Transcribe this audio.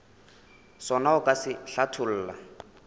sona o ka se hlatholla